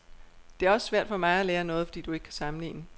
Det er også svært for mig at lære noget, fordi du ikke kan sammenligne.